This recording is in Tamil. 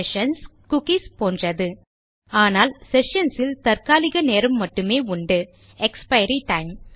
செஷன்ஸ் குக்கீஸ் போன்றது ஆனால் செஷன்ஸ் இல் தற்காலிக நேரம் மட்டுமே உண்டு எக்ஸ்பைரி டைம்